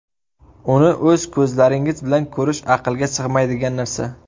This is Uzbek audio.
Uni o‘z ko‘zlaringiz bilan ko‘rish aqlga sig‘maydigan narsa.